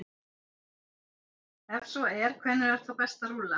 Ef svo er, hvenær er þá best að rúlla?